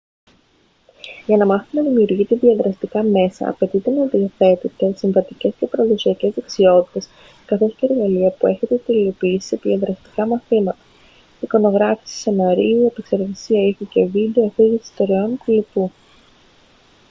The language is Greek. για να μάθετε να δημιουργείτε διαδραστικά μέσα απαιτείται να διαθέτετε συμβατικές και παραδοσιακές δεξιότητες καθώς και εργαλεία που έχετε τελειοποιήσει σε διαδραστικά μαθήματα εικονογράφηση σεναρίου επεξεργασία ήχου και βίντεο αφήγηση ιστοριών κ.λπ.